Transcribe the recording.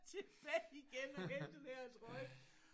Tilbage igen og hente den her trøje